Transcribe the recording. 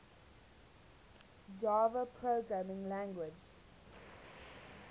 java programming language